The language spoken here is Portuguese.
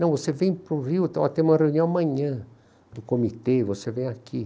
Não, você vem para o Rio, tem uma reunião amanhã do comitê, você vem aqui.